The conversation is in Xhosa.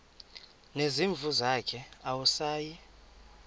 nezimvu zakhe awusayi